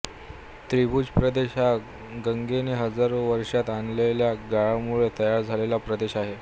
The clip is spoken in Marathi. त्रिभुज प्रदेश हा गंगेने हजारो वर्षात आणलेल्या गाळामुळे तयार झालेला प्रदेश आहे